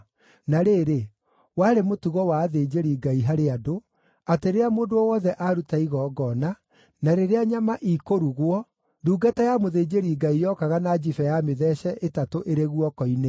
Na rĩrĩ, warĩ mũtugo wa athĩnjĩri-Ngai harĩ andũ, atĩ rĩrĩa mũndũ o wothe aruta igongona, na rĩrĩa nyama ikĩrugwo, ndungata ya mũthĩnjĩri-Ngai yokaga na njibe ya mĩtheece ĩtatũ ĩrĩ guoko-inĩ.